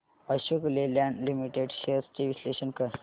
Ashok Leyland limited shares चे विश्लेषण कर